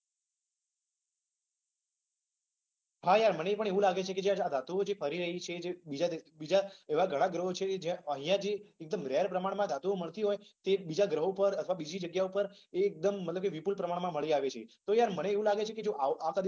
હા યાર મને પણ એવુ લાગે છે કે આ જે ધાતુઓ છે એ ફરી રહી છે. અર બીજા એવા ઘણા ગ્રહો છે જ્યાં અહિંયા જે રેર પ્રમાણમાં ધાતુઓ મળતી હોય એ બીજા ગ્રહો પર અથવા બીજી જગ્યા પર એ એકદમ મતલબ કે વિપુલ પ્રમાણમાં મળી આવે છે. તો યાર મને એવુ લાગે છે કે આ બધુ